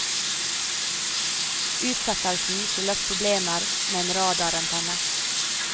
Utsettelsen skyldtes problemer med en radarantenne.